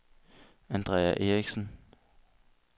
Andrea Eriksen